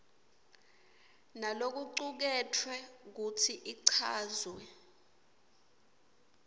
nalokucuketfwe futsi ichazwe